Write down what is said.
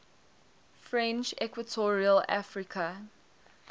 french equatorial africa